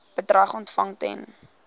bedrag ontvang ten